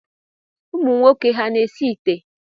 Ụmụnwoke ha na-esi ite?